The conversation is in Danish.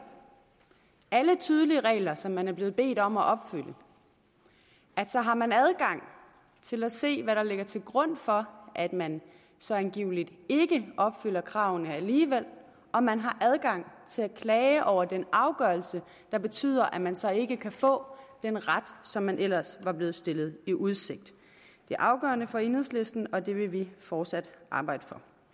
alle tydelige regler som man er blevet bedt om at opfylde så har man adgang til at se hvad der ligger til grund for at man så angiveligt ikke opfylder kravene alligevel og man har adgang til at klage over den afgørelse der betyder at man så ikke kan få den ret som man ellers er blevet stillet i udsigt det er afgørende for enhedslisten og det vil vi fortsat arbejde